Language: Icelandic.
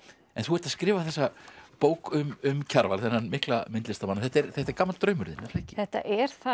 en þú ert að skrifa þessa bók um um Kjarval þennan mikla myndlistarmann þetta er þetta er gamall draumur þinn er það ekki þetta er það